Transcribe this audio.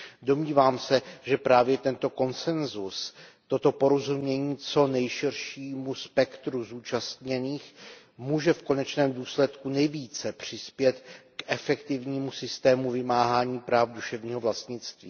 Domnívám se, že právě tento konsensus, toto porozumění co nejširšímu spektru zúčastněných může v konečném důsledku nejvíce přispět k efektivnímu systému vymáhání práv duševního vlastnictví.